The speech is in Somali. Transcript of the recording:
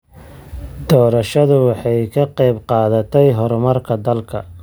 Doorashadu waxay ka qayb qaadatay horumarka dalka.